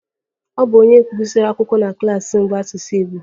Ọ bụ onye gụsịrị akwụkwọ na klas mbụ n'asụsụ Igbo